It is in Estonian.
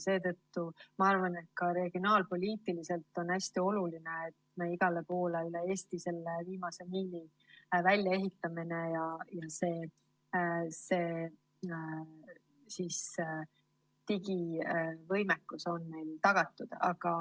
Seetõttu ma arvan, et ka regionaalpoliitiliselt on hästi oluline, et me igal pool üle Eesti selle viimase miili välja ehitame, siis on meil digivõimekus tagatud.